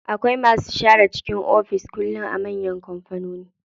Akwai masu share cikin ofis kullum a manyan kampanoni.